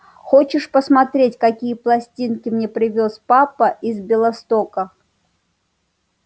хочешь посмотреть какие пластинки мне привёз папа из белостока